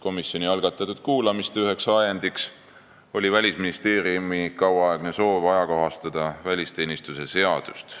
Komisjoni algatatud kuulamiste üks ajend oli Välisministeeriumi kauaaegne soov ajakohastada välisteenistuse seadust.